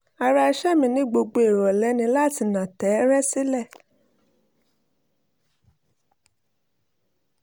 ara ìṣe mi ní gbogbo ìrọ̀lẹ́ ni láti nà tẹ́ẹ́rẹ́ sílẹ̀